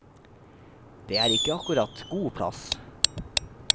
Det er ikke akkurat god plass.